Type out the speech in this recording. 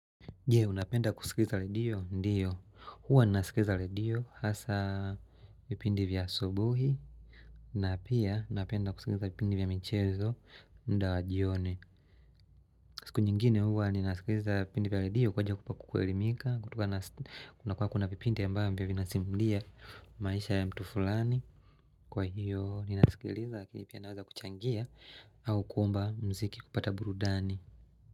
Je unapenda kusikiliza redio ndiyo huwa ninasikiliza redio hasa vipindi vya asubuhi na pia napenda kusikiliza vipindi vya mchezo muda wajioni siku nyingine huwa ninasikiliza vipindi vya redio kwa haja yakupa kukwelimika kutoka nakunakuwa kuna vipindi ambavyo vinasimulia maisha ya mtu fulani Kwa hiyo ninasikiliza lakini pia naweza kuchangia au kuomba mziki kupata burudani.